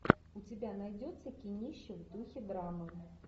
у тебя найдется кинище в духе драмы